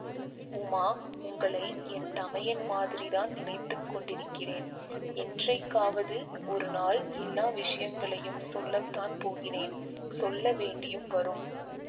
உமா உங்களை என் தமையன் மாதிரிதான் நினைத்து கொண்டிருக்கிறேன் என்றைக்காவது ஒரு நாள் எல்லா விஷயங்களையும் சொல்லத்தான் போகிறேன் சொல்ல வேண்டியும் வரும்